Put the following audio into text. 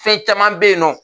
Fɛn caman be yen nɔ